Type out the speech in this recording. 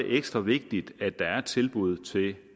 ekstra vigtigt at der er tilbud til